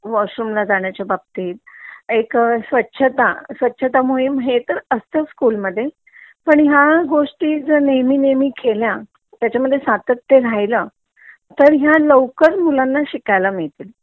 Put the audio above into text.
washroom ला जाण्याच्या बाबतीत एक सवाछता स्वच्छता मोहीम तर असतो स्कूल मध्ये पण ह्या गोष्टी जर नेहमी नेहमी केल्या त्याचा मध्ये सातत्य राहील तर ह्या लवकर मुलांना शिकायला मिळतील